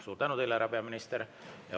Suur tänu teile, härra peaminister!